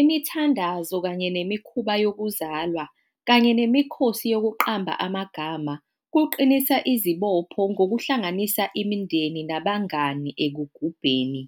Imithandazo kanye nemikhuba yokuzalwa kanye nemikhosi yokuqamba amagama kuqinisa izibopho ngokuhlanganisa imindeni nabangani ekugubeni,